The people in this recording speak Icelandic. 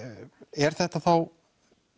er þetta þá